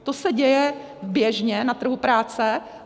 To se děje běžně na trhu práce.